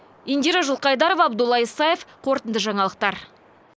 индира жылқайдарова абдолла исаев қорытынды жаңалықтар